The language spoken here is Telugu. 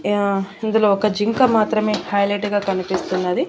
యా ఇందులో ఒక జింక మాత్రమే హైలెట్ గా కనిపిస్తున్నది.